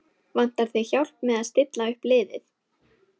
Vantar þig hjálp með að stilla upp liðið?